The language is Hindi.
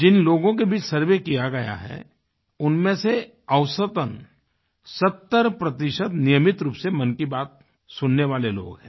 जिन लोगों के बीच सर्वे किया गया है उनमें से औसतन 70 नियमित रूप से मन की बात सुनने वाले लोग हैं